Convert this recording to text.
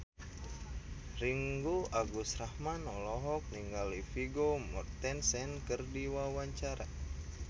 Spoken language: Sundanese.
Ringgo Agus Rahman olohok ningali Vigo Mortensen keur diwawancara